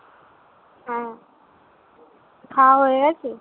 খাওয়া হয়ে গেছে?